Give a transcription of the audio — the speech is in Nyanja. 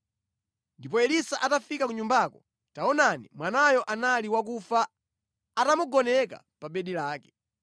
Ndipo Elisa atafika ku nyumbako, taonani, mwanayo anali wakufa atamugoneka pa bedi lake.